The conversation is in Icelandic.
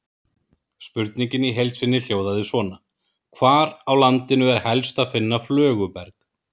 Spurningin í heild sinni hljóðaði svona: Hvar á landinu er helst að finna flöguberg?